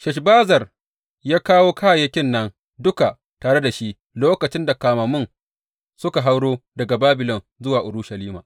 Sheshbazzar ya kawo kayayyakin nan duka tare da shi lokacin da kamammun suka hauro daga Babilon zuwa Urushalima.